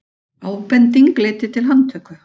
Ábending leiddi til handtöku